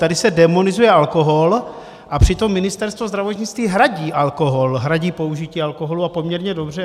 Tady se démonizuje alkohol, a přitom Ministerstvo zdravotnictví hradí alkohol, hradí použití alkoholu, a poměrně dobře.